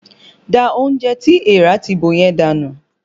Da oúnjẹ tí èèrà ti bò yẹn dànù!